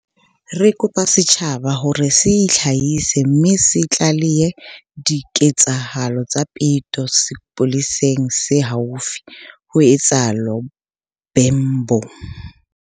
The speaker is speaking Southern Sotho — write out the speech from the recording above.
"Re kopa setjhaba ho re se itlhahise mme se tlalehe diketsahalo tsa peto sepoleseng se haufi," ho itsalo Bhembe.